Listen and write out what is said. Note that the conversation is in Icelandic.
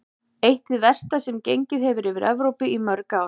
Eitt hið versta sem gengið hefur yfir Evrópu í mörg ár.